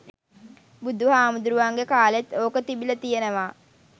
බුදු හාමුදුරුවන්ගෙ කාලෙත් ඕක තිබිල තියනව.